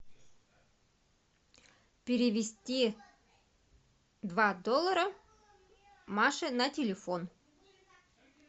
перевести два доллара маше на телефон